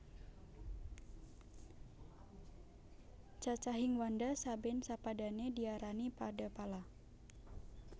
Cacahing wanda saben sapadane diarani Padapala